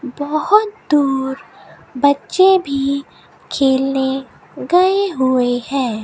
बहुत दूर बच्चे भी खेलने गए हुए है।